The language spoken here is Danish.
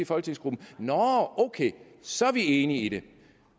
folketingsgruppen nå ok så er vi enige